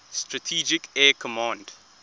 strategic air command